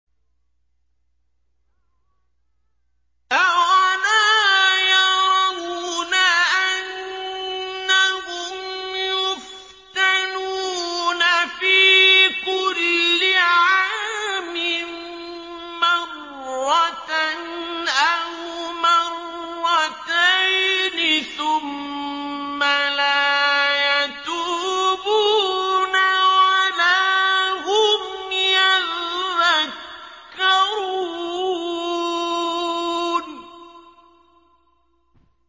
أَوَلَا يَرَوْنَ أَنَّهُمْ يُفْتَنُونَ فِي كُلِّ عَامٍ مَّرَّةً أَوْ مَرَّتَيْنِ ثُمَّ لَا يَتُوبُونَ وَلَا هُمْ يَذَّكَّرُونَ